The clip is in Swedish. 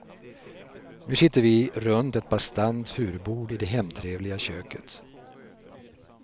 Nu sitter vi runt ett bastant furubord i det hemtrevliga köket.